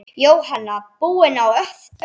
Jóhanna: Búinn að öllu?